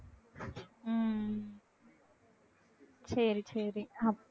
உம் சரி சரி